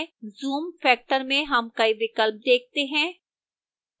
zoom factor में हम कई विकल्प देखते हैं